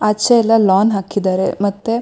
ಆಚೆ ಎಲ್ಲ ಲಾನ್ ಹಾಕಿದ್ದಾರೆ ಮತ್ತೆ --